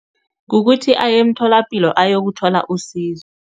Kukuthi aye emtholapilo, ayokuthola usizo.